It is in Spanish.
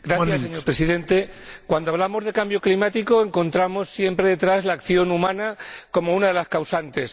Señor Presidente, cuando hablamos de cambio climático encontramos siempre detrás la acción humana como una de las causantes.